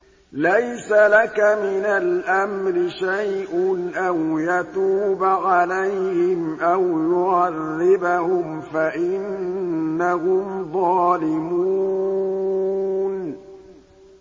لَيْسَ لَكَ مِنَ الْأَمْرِ شَيْءٌ أَوْ يَتُوبَ عَلَيْهِمْ أَوْ يُعَذِّبَهُمْ فَإِنَّهُمْ ظَالِمُونَ